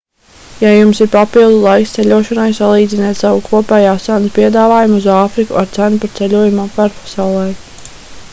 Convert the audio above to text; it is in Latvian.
ja jums ir papildu laiks ceļošanai salīdziniet savu kopējās cenas piedāvājumu uz āfriku ar cenu par ceļojumu apkārt pasaulei